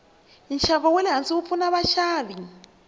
nshavo walehhansi wupfuna vashavi